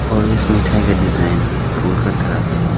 और इस मिठाई का डिजाइन फूल का तरह है।